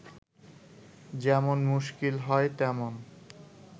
যেমন মুশকিল হয়, তেমন